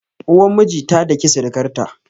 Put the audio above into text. Uwar miji ta daki sirikar ta